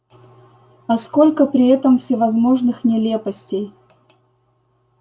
а сколько при этом всевозможных нелепостей